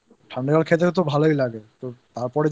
পুরো একদম ঠাণ্ডা জল খেতে তো ভালই লাগে তো